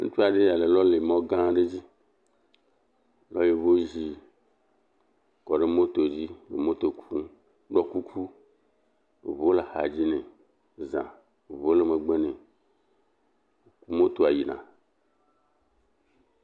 Teƒe aɖee ya le lɔlemɔgã aɖe dzi lɔ yevozi kɔ ɖe moto dzi le moto dzi nɔ moto kum, ɖɔ kuku. Eŋuwo le axadzi nɛ zã. Eŋuwo le megbe nɛ. Motoa yina